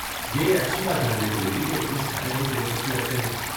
یہ اچھی بات جاننے کو ملی کہ اتنے سارے لوگ دلچسپی رکھتے ہیں۔